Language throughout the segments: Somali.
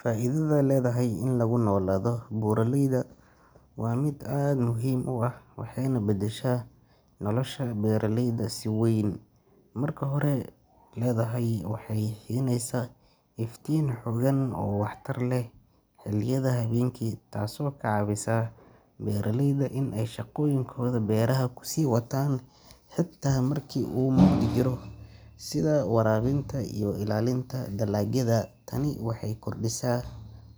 Faa’iidada ledahy ee lagu nolaado buraleyda waa mid aad muhiim u ah waxayna bedeshaa nolosha beeraleyda si wayn. Marka hore, ledahy waxay siinaysaa iftiin xooggan oo waxtar leh xilliyada habeenkii taasoo ka caawisa beeraleyda inay shaqooyinkooda beeraha ku sii wataan xitaa marka uu mugdi jiro, sida waraabinta iyo ilaalinta dalagyada. Tani waxay kordhisaa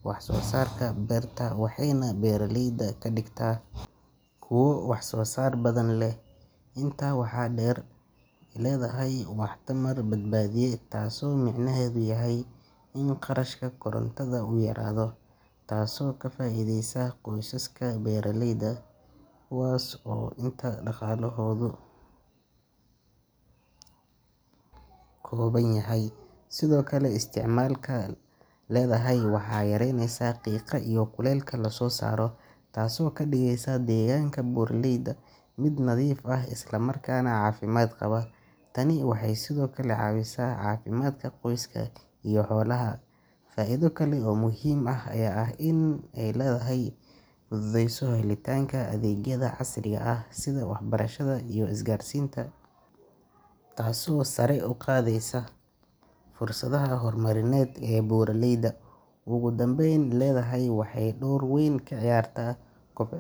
wax soo saarka beerta waxayna beeraleyda ka dhigtaa kuwo wax soo saar badan leh. Intaa waxaa dheer, ledahy waa tamar badbaadiye, taasoo micnaheedu yahay in kharashka korontada uu yaraado, taasoo ka faa’iideysa qoysaska beeraleyda kuwaas oo inta badan dhaqaalahoodu kooban yahay. Sidoo kale, isticmaalka ledahy waxay yareysaa qiiqa iyo kuleylka la soo saaro, taasoo ka dhigaysa deegaanka buraleyda mid nadiif ah isla markaana caafimaad qaba. Tani waxay sidoo kale caawisaa caafimaadka qoyska iyo xoolaha. Faa’iido kale oo muhiim ah ayaa ah in ledahy ay fududeyso helitaanka adeegyada casriga ah sida waxbarashada iyo isgaarsiinta, taasoo sare u qaadaysa fursadaha horumarineed ee buraleyda. Ugu dambeyn, ledahy waxay door weyn ka ciyaartaa kob.